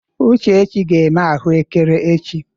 Uchechi ga-eme ahụekere echi.